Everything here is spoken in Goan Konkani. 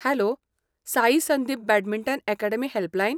Hello! Sai Sandeep badminton academy helpline.